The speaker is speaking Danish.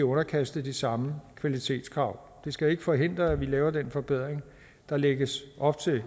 underkastet de samme kvalitetskrav det skal ikke forhindre at vi laver den forbedring der lægges op til